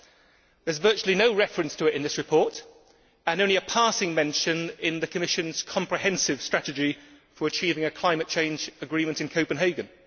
There is virtually no reference to it in this report and only a passing mention in the Commission's comprehensive strategy for achieving a climate change agreement in Copenhagen.